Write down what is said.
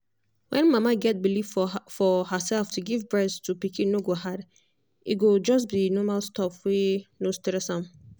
when mama get believe for for herself to give breast to pikin no go hard e go just be normal stuff wey no stress am.